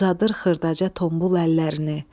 Uzadır xırdaca tombul əllərini.